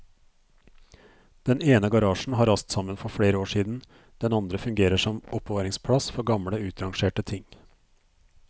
Den ene garasjen har rast sammen for flere år siden, den andre fungerer som oppbevaringsplass for gamle utrangerte ting.